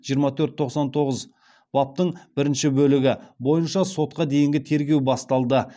жиырма төрт тоқсан тоғыз баптың бірінші бөлігі бойынша сотқа дейінгі тергеу басталды